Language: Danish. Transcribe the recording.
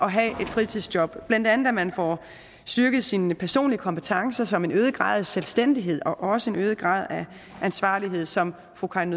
at have et fritidsjob blandt andet at man får styrket sine personlige kompetencer som en øget grad af selvstændighed og også en øget grad af ansvarlighed som fru karin